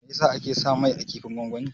Meyasa ake sa mai a kifin gongoni?